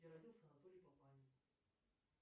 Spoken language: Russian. где родился анатолий папанин